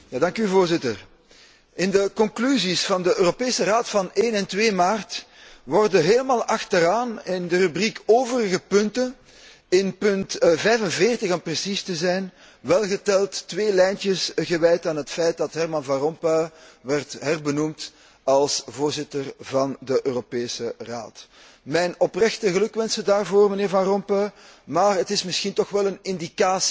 In de conclusies van de Europese Raad van 1 en 2 maart worden helemaal aan het einde in de rubriek overige punten, in punt 45 om precies te zijn, welgeteld twee lijntjes gewijd aan het feit dat Herman Van Rompuy werd herbenoemd als voorzitter van de Europese Raad. Mijn oprechte gelukwensen, mijnheer Van Rompuy, maar het is misschien toch wel een indicatie dat er iets fout zit